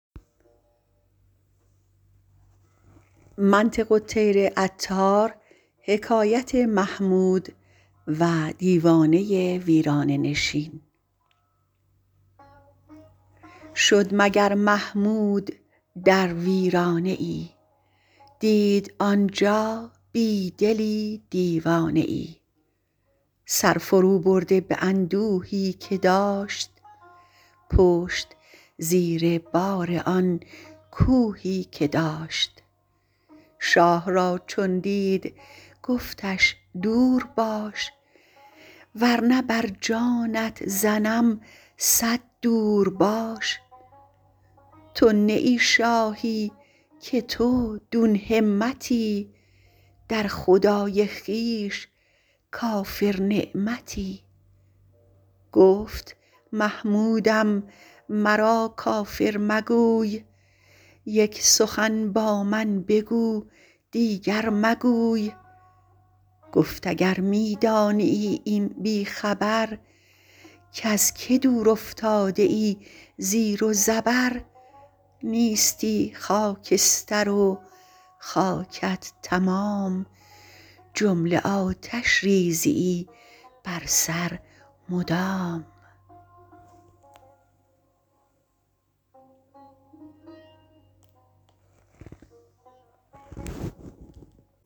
شد مگر محمود در ویرانه ای دید آنجا بی دلی دیوانه ای سر فرو برده به اندوهی که داشت پشت زیر بار آن کوهی که داشت شاه را چون دید گفتش دورباش ورنه بر جانت زنم صد دور باش تو نه ای شاهی که تو دون همتی در خدای خویش کافر نعمتی گفت محمودم مرا کافر مگوی یک سخن با من بگو دیگر مگوی گفت اگر می دانیی ای بی خبر کز که دور افتاده ای زیر و زبر نیستی خاکستر و خاکت تمام جمله آتش ریزیی بر سر مدام